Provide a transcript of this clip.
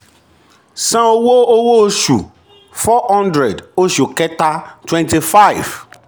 san owó owó oṣù four hundred oṣù kẹta twenty five.